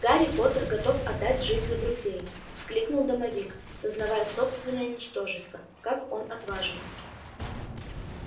гарри поттер готов отдать жизнь за друзей вскликнул домовик сознавая собственное ничтожество как он отважен